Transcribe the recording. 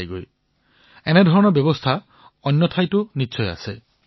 এনেকুৱা বহু প্ৰকাৰৰ ব্যৱস্থা সকলো স্থানতে থাকিব